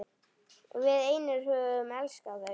Við einir höfum elskað það.